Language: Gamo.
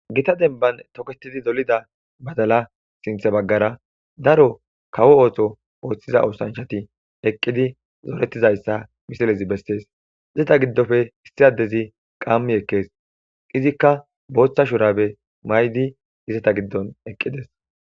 Gita demban toketid dolida badala sintha bagara daro kawo oso othiza oshanchat eqid zoretizaysa misilez beses. Ista giddoppe issi adez qam ekes.izika bootha shurabe mayd izeta gidon eqides.